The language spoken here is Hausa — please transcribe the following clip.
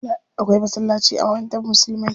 Akwai masallaci a makarantar musulmai.